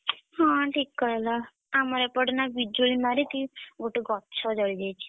ହଁ ଠିକ୍ କହିଲ। ଆମର ଏପଟେ ନା ବିଜୁଳି ମାରିକି ଗୋଟେ ଗଛ ଜଳିଯାଇଛି।